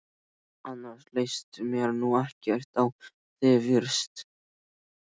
Annars leist mér nú ekkert á þig fyrst!